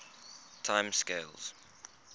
time scales